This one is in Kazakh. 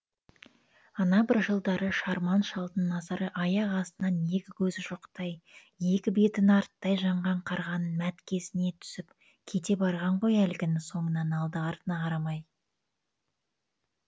ана бір жылдары шарман шалдың назары аяқ астынан екі көзі шоқтай екі беті нарттай жанған қарғаның мәткесіне түсіп кете барған ғой әлгінің соңынан алды артына қарамай